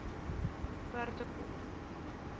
perdekop